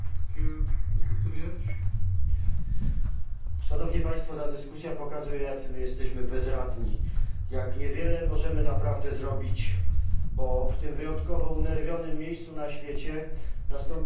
Panie Przewodniczący! Ta dyskusja pokazuje, jacy my jesteśmy bezradni, jak niewiele możemy naprawdę zrobić, bo w tym wyjątkowo unerwionym miejscu na świecie nastąpiły wielkie zmiany, a za tymi zmianami nastąpił wielki chaos.